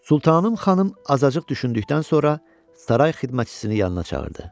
Sultanım xanım azacıq düşündükdən sonra saray xidmətçisini yanına çağırdı.